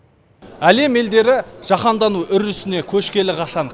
әлем елдері жаһандану үрдісіне көшкелі қашан